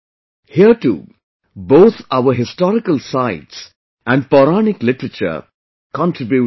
Here too, both our historical sites and Pauranik literature contribute a lot